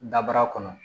Dabara kɔnɔ